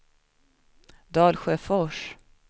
Dalsjöfors